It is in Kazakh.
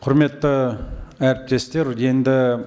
құрметті әріптестер енді